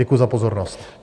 Děkuji za pozornost.